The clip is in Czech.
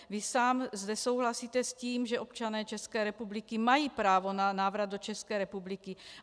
Vy sám zde souhlasíte s tím, že občané České republiky mají právo na návrat do České republiky.